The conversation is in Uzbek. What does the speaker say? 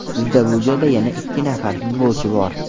Bizda bu joyda yana ikki nafar futbolchi bor.